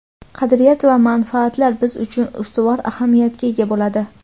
qadriyat va manfaatlar biz uchun ustuvor ahamiyatga ega bo‘ladi?.